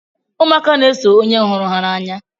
Ụmụaka na-eso onye hụrụ ha n'anya.